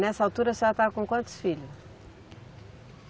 Nessa altura a senhora estava com quantos filhos?